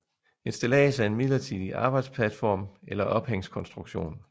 Et stillads er en midlertidig arbejdsplatform eller ophængskonstruktion